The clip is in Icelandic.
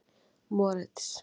Moritz